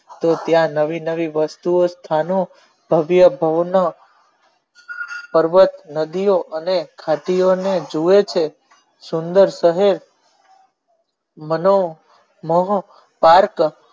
તો ત્યાં નવી નવી વસ્તુ ઓ સ્થાનો ભવ્ય નો પર્વત નદી ઓ અને ખાતી ઓ ને જુએ છે નો સુંદર સમૂહ મનો મોહ park